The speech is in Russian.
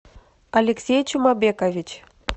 алексей чумабекович